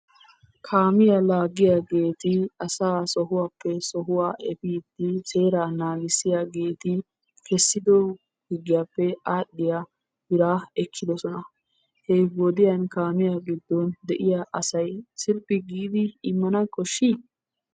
Kaamiya laagiyageeti asaa sohuwappe sohuwa efiidi seeraa naagissiyaageeti kessiddo higgiyappe adhiya biraa ekkiddosona, he wodiyan kaamiya giddon de'iya asay sirphi giidi immana koshshi?